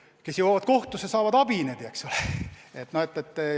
Noh, kes jõuavad kohtusse, need saavad abi, eks ole.